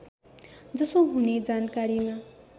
जसो हुने जानकारीमा